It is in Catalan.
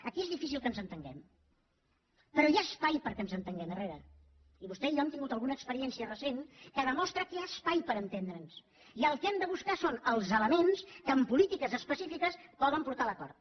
aquí és difícil que ens entenguem però hi ha espai perquè ens entenguem herrera i vostè i jo hem tingut alguna experiència recent que demostra que hi ha espai per entendre’ns i el que hem de buscar són els elements que en polítiques específiques poden portar a l’acord